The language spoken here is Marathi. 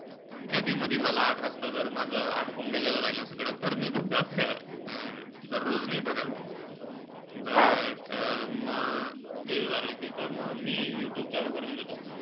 कधी-मधी मला आठ वाजता जर माझं आटोपून गेलेलं राहीलं सगळं, तर मी बघतो. अं दररोज नाई बघत. but म ते झालं कि त म मी यूट्यूब चालू करून देतो.